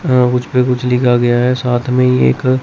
हा उसपे कुछ लिखा गया है साथ में ही एक--